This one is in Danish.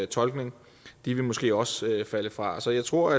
tolkning de vil måske også falde fra så jeg tror